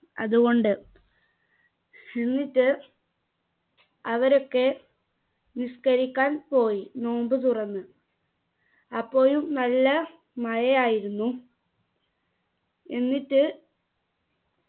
അതുകൊണ്ട് എന്നിട്ട് അവരൊക്കെ നിസ്കരിക്കാൻ പോയി നോമ്പ് തുറന്ന് അപ്പോഴും നല്ല മഴ ആയിരുന്നു എന്നിട്ട്